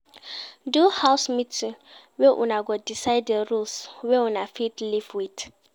Do house meeting where Una go decide di rules wey Una fit live with